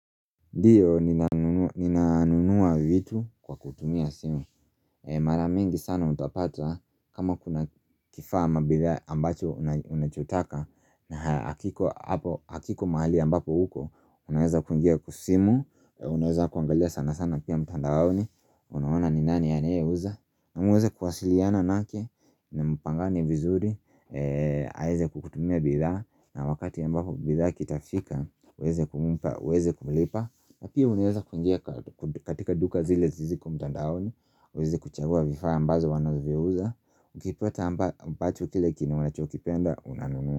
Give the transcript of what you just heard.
Ndio, ninanunua vitu kwa kutumia simu Mara mingi sana utapata kama kuna kifaa ama bidhaa ambacho unachotaka na hakiko mahali ambapo huko, unaweza kungia kwa simu Unaweza kuangalia sana sana pia mtandaoni Unawona ni nani ya naeuza. Namueza kuwasiliana nake na mpangane vizuri aweze kukutumia bidha na wakati ambapo bidha kitafika uweze kumpa, uweze kumlipa na pia unaweza kuingia katika duka zile ziko mtandaoni uweze kuchagua vifaa ambazo wanavyouza Ukipata ambacho kile kenye unachokipenda, unanunua.